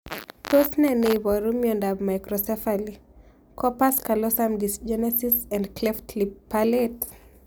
Tos ne neiparu miondop Microcephaly, corpus callosum dysgenesis and cleft lip palate?